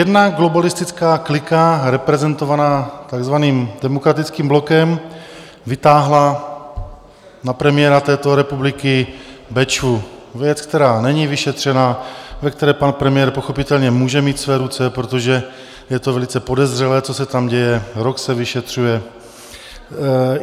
Jedna globalistická klika reprezentovaná takzvaným Demokratickým blokem vytáhla na premiéra této republiky Bečvu, věc, která není vyšetřena, ve které pan premiér pochopitelně může mít své ruce, protože je to velice podezřelé, co se tam děje, rok se vyšetřuje.